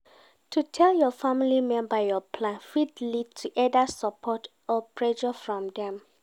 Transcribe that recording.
To tell your family member your plan fit lead to either support or pressure from dem